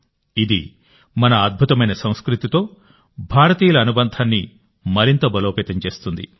ఇది మన అద్భుతమైన సంస్కృతితో భారతీయుల అనుబంధాన్ని మరింత బలోపేతం చేస్తుంది